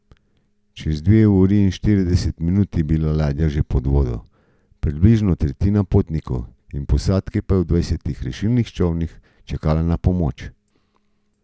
Čez dve uri in štirideset minut je bila ladja že pod vodo, približno tretjina potnikov in posadke pa je v dvajsetih rešilnih čolnih čakala na pomoč.